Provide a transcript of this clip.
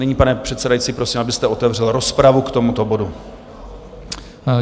Nyní, pane předsedající, prosím, abyste otevřel rozpravu k tomuto bodu.